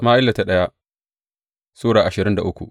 daya Sama’ila Sura ashirin da uku